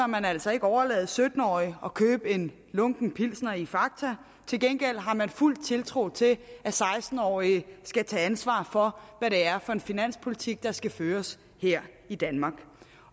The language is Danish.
man altså ikke overlade sytten årige at købe en lunken pilsner i fakta til gengæld har man fuld tiltro til at seksten årige skal tage ansvar for hvad det er for en finanspolitik der skal føres her i danmark